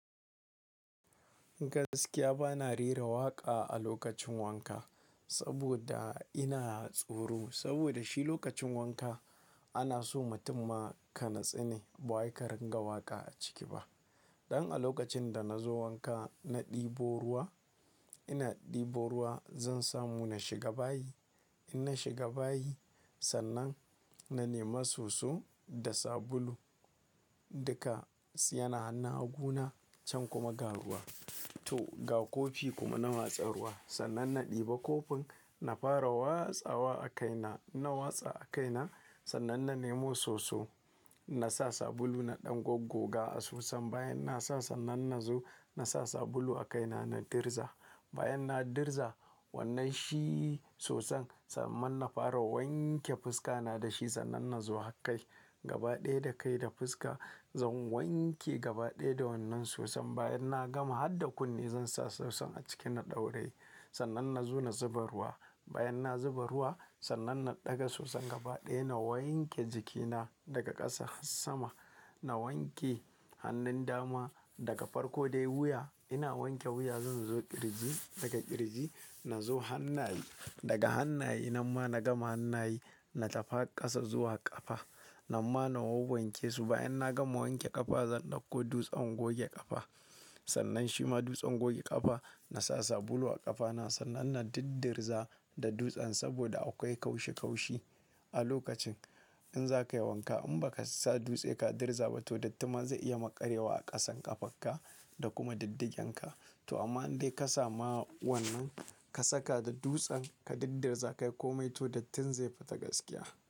Gaskiya ba na rera waƙa a lokacin wanka saboda ina tsoro. Saboda shi lokacin wanka ana so mutum ma ka natsine ba waika ringa waƙa a ciki ba. Don a lokacin da na zo wanka, na ɗebo ruwa, ina ɗebo ruwa zan samu na shiga bayi. In na shiga bayi sannan na nema soso da sabulu, duka suna hannu hagu na can kuma ga ruwa. To ga kofi kuma na watsar ruwa. Sannan na ɗiba kofin, na fara watsawa a kaina. Na watsa a kaina sannan na nemo soso. Na sa sabulu na ɗan goggoga a soson bayan na sa sannan na zo na sa sabulu a kaina na dirza. Bayan na dirza wannan shi soson sannan na fara wanke fuska na da shi sannan na zo ha kai. Gaba ɗaya da kai da fuska zan wanke gaba ɗaya da wannan soson. Bayan na gama har da kunne zan sa soson a ciki na ɗauraye sannan na zo na zuba ruwa. Bayan na zuba ruwa sannan na ɗaga soson gaba ɗaya na wanke jikina daga ƙasa har sama. Na wanke hannun dama daga farko dai wuya. Ina wanke wuya zan zo ƙirji, daga ƙirji na zo hannaye. Daga hannaye na ma na gama hannaye na tafa ƙasa zuwa ƙafa. Na ma na wur wanke su bayan na gama wanke ƙafa zan ɗauko dutsen goge ƙafa. Sannan shi ma dutsen goge ƙafa na sa sabulu a ƙafa na sannan na diddirza da dutsen saboda akwai kaushi kaushi a lokacin in za ka yi wanka in ba ka sa dutse ka dirza ba to dattin ma zai iya maƙaryewa a ƙasan ƙafarka da kuma diddigenka. To amma in dai ka samu wannan ka saka da dutsen ka diddirza kai komai to dattin zai fita gaskiya.